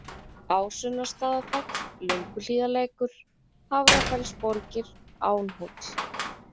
Ásunnarstaðafell, Lönguhlíðarlækur, Hafrafellsborgir, Ánhóll